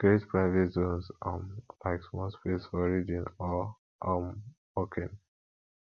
create private zones um like small space for reading or um working